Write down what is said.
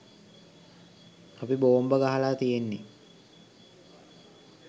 අපි බෝම්බ ගහලා තියෙන්නේ